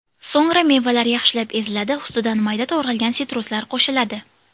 So‘ngra mevalar yaxshilab eziladi, ustidan mayda to‘g‘ralgan sitruslar qo‘shiladi.